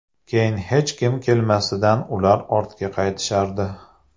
Keyin hech kim kelmasidan ular ortga qaytishardi.